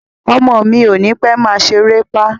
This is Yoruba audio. Ọmọ mi ò ní pẹ́ máa ṣeré pá